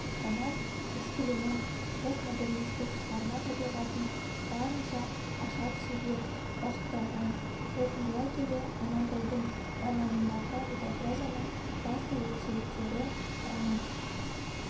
роман-эксперимент постмодернистік шығарма табиғатын барынша аша түсуге бағытталған қорытындылай келе амантайдың романындағы метапрозаның басты ерекшеліктері роман